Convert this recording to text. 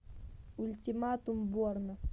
ультиматум борна